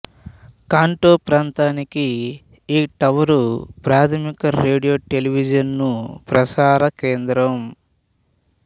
Kanto ప్రాంతానికి ఈ tower ప్రాథమిక రేడియో టెలివిజను ప్రసార కేంద్రం